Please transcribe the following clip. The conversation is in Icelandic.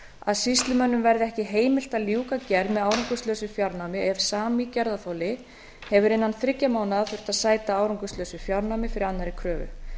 að sýslumönnum verði ekki heimilt að ljúka gerð með árangurslausu fjárnámi ef sami gerðarþoli hefur innan þriggja mánaða þurft að sæta árangurslausu fjárnámi fyrir annarri kröfu